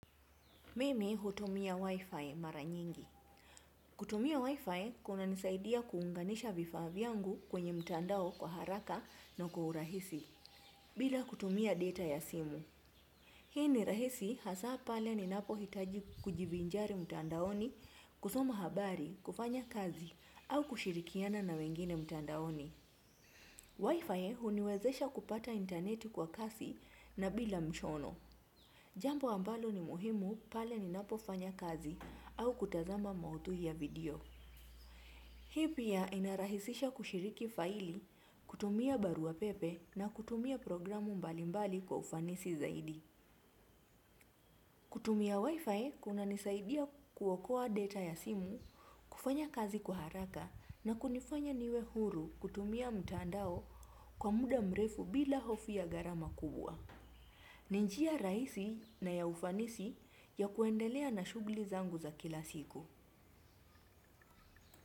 Mimi hutumia wifi mara nyingi. Kutumia wifi kunanisaidia kuunganisha vifaa vyangu kwenye mtandao kwa haraka na kwa urahisi bila kutumia data ya simu. Hii ni rahisi hasa pale ninapohitaji kujivinjari mtandaoni kusoma habari kufanya kazi au kushirikiana na wengine mtandaoni. Wifi huniwezesha kupata intaneti kwa kasi na bila mshono. Jambo ambalo ni muhimu pale ninapofanya kazi au kutazama maudhui ya video. Hii pia inarahisisha kushiriki faili, kutumia barua pepe na kutumia programu mbalimbali kwa ufanisi zaidi. Kutumia wifi kunanisaidia kuokoa data ya simu, kufanya kazi kwa haraka na kunifanya niwe huru kutumia mtandao kwa muda mrefu bila hofu ya gharama kubwa. Ni njia rahisi na ya ufanisi ya kuendelea na shughuli zangu za kila siku.